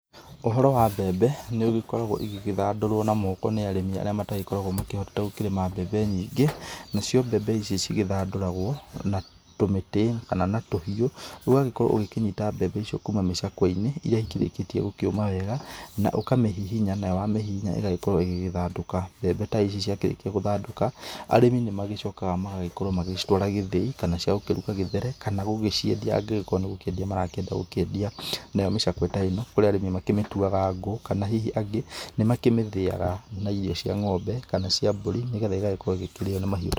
Ũhoro wa mbembe nĩũgĩkoragwo ũkĩthandũrwo na moko nĩ arĩmi arĩa matagĩkoragwa makĩhota gũkĩrĩma mbembe nyingĩ, nacio mbembe icio cigĩthanduragwo na tũmĩtĩ kana na tũhiũ, ũgagĩkorwo ũgĩkĩnyita mbembe icio kuuma mĩcakweinĩ irĩa ikĩrĩkĩtie kũma wega na ũkamĩgihinya nayo wamĩhihinya ĩgagĩkorwo ĩgĩkĩthandũka, mbembe ta ici ciakĩrĩkia kũthandũka, arĩmi nĩmagĩcokaga magagĩkorwo magacitwara gĩthĩi kana cia kũruga gĩthere kana gũgĩciendia angĩkorwo nĩkwendia megũkorwo makĩendia, nayo mĩcakwe ta ĩno arĩmi nĩmamĩtuaga ngũ kana hihi angĩ nĩmakĩthĩaga na irio cia ng'ombe kana cia mbũri nĩgetha ĩgagĩkorwo ikĩrĩwa nĩ mahiũ.